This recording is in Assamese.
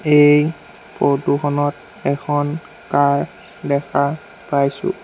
এই ফটো খনত এখন কাৰ দেখা পাইছোঁ।